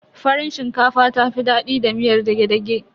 Farin shinkafa ta fi daɗi da miyar dage-dage.